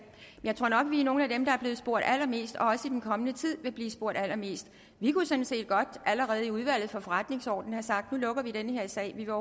jeg tror nok at vi er nogle af dem der er blevet spurgt allermest og også i den kommende tid vil blive spurgt allermest vi kunne sådan set godt allerede i udvalget for forretningsordenen have sagt at nu lukker vi den her sag vi vil